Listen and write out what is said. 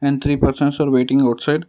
and three persons are waiting outside.